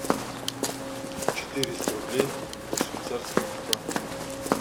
четыреста рублей в швейцарских франках